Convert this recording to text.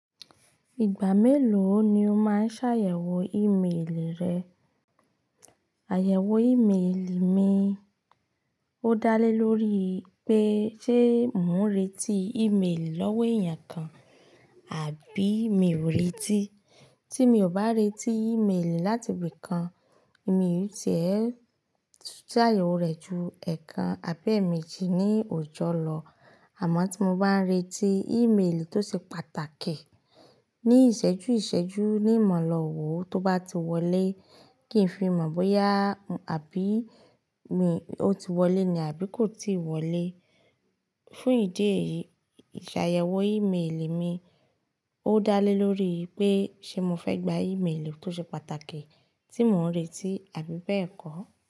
Ìgbà mélòó ni o máa ṣàyẹ̀wò ìméèlì rẹ? Àyẹ̀wò ìméèlì mi ó dá lé lórí pé ṣé mò ń retí ìméèlì lọ́wọ́ èèyàn kan àbí mi ò retí. Tí mi ò bá retí ìméèlì láti ibì kan, mi tì ẹ́ ṣàyẹ̀wò rẹ̀ ju ẹ̀ẹ̀kan àbí èèmejì ní òjò lọ. Àmọ́ tí mo báa n retí ìméèlì tó ṣe pàtàkì ní ìṣẹ́jú ìṣẹ́jú ní ma lo wọ́ tó bá ti wọlé, kí n fi mọ̀ bóyá àbí mi ó ti wọlé ni àbí kò ti wọlé. Fún ìdí èyí, ìṣàyẹ̀wò ìméèlì mi ó dá lé lórí pé ṣé mo fẹ́ gba ìméèlì tó ṣe pàtàkì tí mò ń retí àbí bẹ́ẹ̀ kọ́.